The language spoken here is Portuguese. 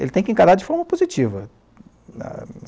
ele tem que encarar de forma positiva.